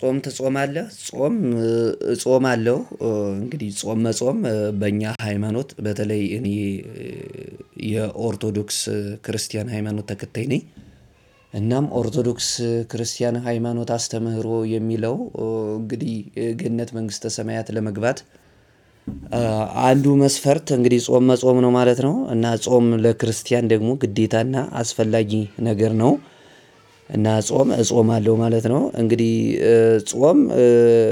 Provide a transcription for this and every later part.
ጾም ተጾማለህ? ጾም እጾማለሁ። እንግዲህ ጾም መጾም በእኛ ሃይማኖት በተለይ እኔ የኦርቶዶክስ ክርስቲያን ሃይማኖት ተከታይ ነኝ። እናም ኦርቶዶክስ ክርስቲያን ሃይማኖት አስተምህሮ የሚለው እንግዲህ ገነት መንግስተ ሰማያት ለመግባት አንዱ መስፈርት እንግዲህ ጾም መጾም ነው ማለት ነው። እና ጾም ለክርስቲያን ደግሞ ግዴታና አስፈላጊ ነገር ነው። እና ጾም እጾማለሁ ማለት ነው። እንግዲህ ጾም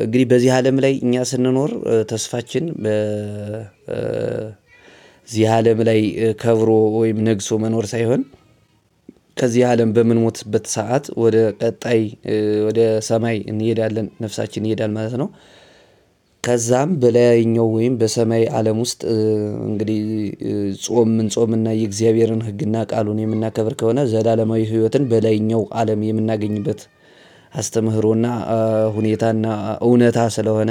እንግዲህ በዚህ አለም ላይ እኛ ስንኖር ተስፋችን በዚህ አለም ላይ ከብሮ ወይም ነግሶ መኖር ሳይሆን ከዚህ አለም በምንሞትበት ሰዓት ወደ ቀጣይ ወደ ሰማይ እንሄዳለን ነፍሳችን ይሄዳል ማለት ነው። ከዛን በላይኛው ወይ በሰማይ አለም ውስጥ እንግዲህ ጾም ምን ጾም እና የእግዚአብሔርን ህግና ቃሉን የምናከብር ከሆነ ዘላለማዊ ህይወትን በላይኛው አለም የምናገኝበት አስተምህሮና ሁኔታና እውነት ስለሆነ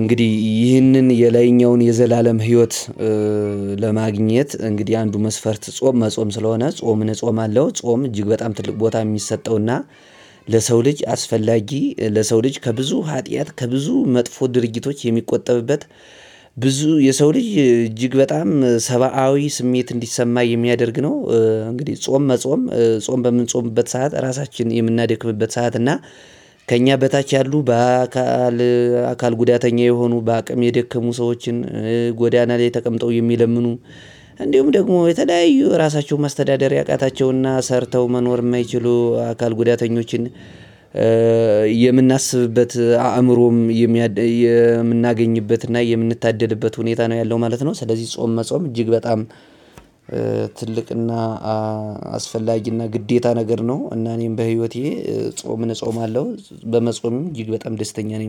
እንግዲህ ይህንን የላይኛውን የዘላለም ህይወት ለማግኘት እንግዲህ አንዱ መስፈርት ጾም መጾም ስለሆነ ጾምን እጾማለሁ። ጾም እጅግ በጣም ትልቅ ቦታ የሚሰጠውና ለሰው ልጅ አስፈላጊ ለሰው ልጅ ከብዙ ኃጢአት ከብዙ መጥፎ ድርጊቶች የሚቆጠብበት ብዙ የሰው ልጅ እጅግ በጣም ሰባዊ ስሜት እንዲሰማ የሚያደርግ ነው። እንግዲህ ጾም መጾም ጾም በምንጾምበት ሰዓት ራሳችንን የምናደክመበት ሰዓት እና ከኛ በታች ያሉ በአካል አካል ጉዳተኛ የሆኑ በአቅም የደከሙ ሰዎችን፤ ጎዳና ላይ ተቀምጠው የሚለምኑ እንዲሁም ደግሞ የተለያዩ እራሳቸውን ማስተዳደር ያቃታቸው ሰርተው መኖር የማይችሉ የአካል ጉዳተኞችን የምናስብበት አእምሮም የምናገኝበትና የምንታደልበት ሁኔታ ነው ያለው ማለት ነው። ስለዚህ ጾም መጾም እጅግ በጣም ትልቅና አስፈላጊና ግዴታ ነገር ነው። እና እኔም በህይወቴ ጾምን እጾማለሁ በመጾሜም እጅግ በጣም ደስተኛ ነኝ።